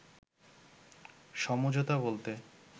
“সমঝোতা বলতে